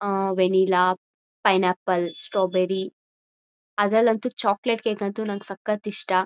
ಆ vanilla pineapple strawberry ಅದ್ರಲ್ ಅಂತೂ ಚಾಕಲೇಟ್ ಕೇಕ್ ಅಂತೂ ನಂಗ್ ಸಕತ್ ಇಷ್ಟ